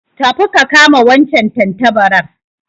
Tafi ka kama wancan tantabarar